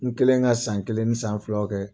N kelen ka san kelen ni san filaw kɛ.